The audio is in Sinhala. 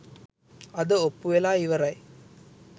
අද ඔප්පු වෙලා ඉවරයි.